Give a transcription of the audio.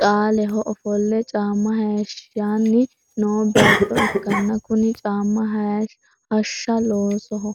caaleho ofolle caamma hayiishshanni noo beetto ikkanna kuni caamma hashsha loosoho.